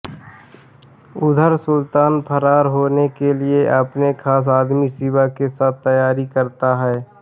उधर सुल्तान फरार होने के लिए अपने खास आदमी शिवा के साथ तैयारी करता है